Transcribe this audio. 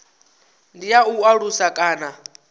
ndi ya u alusa kana